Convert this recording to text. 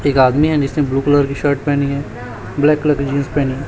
एक आदमी है जिसने ब्लू कलर की शर्ट पहनी है ब्लैक कलर की जींस पेहनी है।